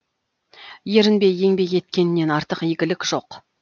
ерінбей еңбек еткеннен артық игілік жоқ